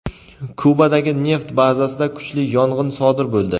Kubadagi neft bazasida kuchli yong‘in sodir bo‘ldi.